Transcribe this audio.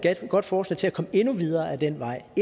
godt forslag til at komme endnu videre ad den vej og